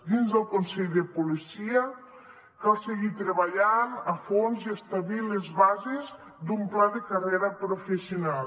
dins del consell de policia cal seguir treballant a fons i establir les bases d’un pla de carrera professional